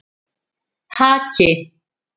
Haki